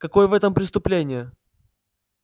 какое в этом преступление